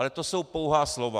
Ale to jsou pouhá slova.